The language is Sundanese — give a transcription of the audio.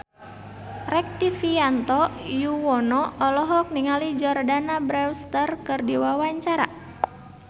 Rektivianto Yoewono olohok ningali Jordana Brewster keur diwawancara